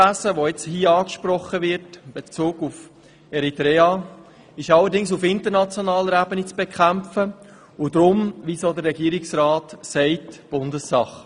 Das hier angesprochene Schlepperwesen in Bezug auf Eritrea ist allerdings auf internationaler Ebene zu bekämpfen und deshalb – wie auch von Regierungsrat Käser erwähnt – Bundessache.